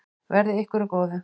Verði ykkur að góðu.